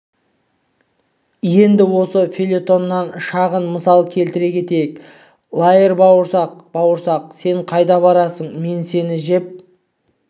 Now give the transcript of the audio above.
енді осы фельетоннан шағын мысал келтіре кетейік лаер бауырсақ бауырсақ сен қайда барасың мен сені жеп